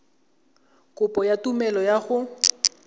kopo ya tumelelo ya go